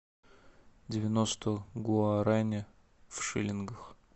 девяносто гуарани в шиллингах